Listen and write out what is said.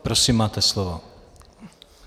Prosím, máte slovo.